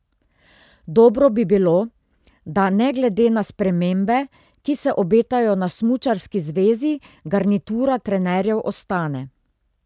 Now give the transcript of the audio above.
Dobro bi bilo, da ne glede na spremembe, ki se obetajo na smučarski zvezi, garnitura trenerjev ostane.